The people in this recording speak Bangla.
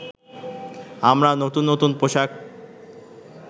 আমরা নতুন নতুন পোশাক